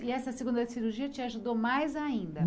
E essa segunda cirurgia te ajudou mais ainda.